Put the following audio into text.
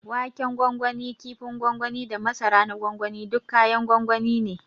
Waken gwangwani, ƙifin gwangwani da masara na gwangwani duk kayan gwangwani ne.